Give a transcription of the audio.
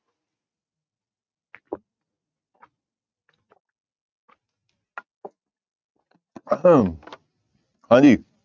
ਹਾਂਜੀ